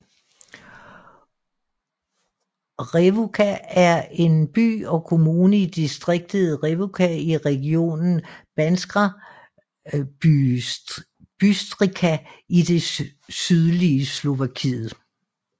Revúca er en by og kommune i distriktet Revúca i regionen Banská Bystrica i det sydlige Slovakiet